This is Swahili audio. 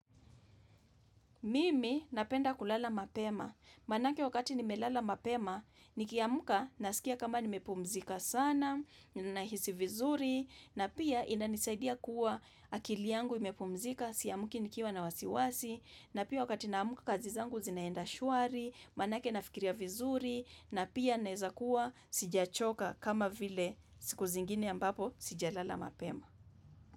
Mimi napenda kulala mapema. Manake wakati nimelala mapema, nikiamka nasikia kama nimepumzika sana, nahisi vizuri, na pia inanisaidia kuwa akili yangu imepumzika, siamki nikiwa na wasiwasi, na pia wakati naamka kazi zangu zinaenda shwari, manake nafikiria vizuri, na pia naeza kuwa sijachoka kama vile siku zingine ambapo sijalala mapema.